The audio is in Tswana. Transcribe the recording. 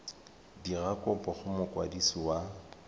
dira kopo go mokwadisi wa